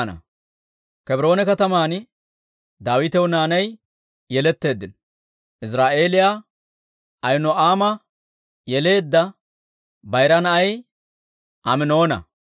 Kebroone kataman Daawitaw naanay yeletteeddino; Iziraa'eeliyaa Ahino'aama yeleedda bayira na'ay Aminoona;